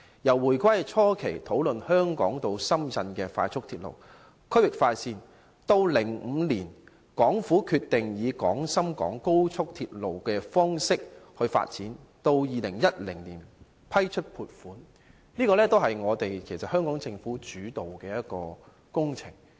由回歸初期討論香港至深圳的快速鐵路等區域快線，及至2005年港府決定以廣深港高速鐵路方式來發展，再到2010年批出撥款，這些全是由香港政府主導的工程。